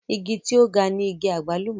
igi tí ó ga ni igi àgbálùmọ̀